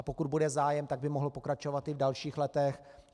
A pokud bude zájem, tak by mohl pokračovat i v dalších letech.